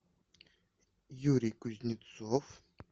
юрий кузнецов